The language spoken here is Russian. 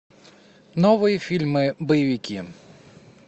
новые фильмы боевики